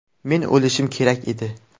Men o‘lishim kerak edi.